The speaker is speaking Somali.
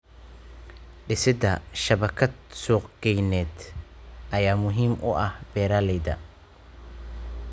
Dhisida shabakad suuqgeyneed ayaa muhiim u ah beeralayda.